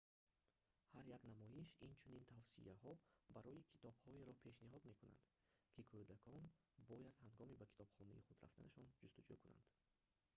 ҳар як намоиш инчунин тавсияҳо барои китобҳоеро пешниҳод мекунад ки кӯдакон бояд ҳангоми ба китобхонаи худ рафтанашон ҷустуҷӯ кунанд